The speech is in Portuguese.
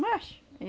Mas!